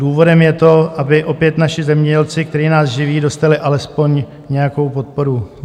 Důvodem je to, aby opět naši zemědělci, kteří nás živí, dostali alespoň nějakou podporu.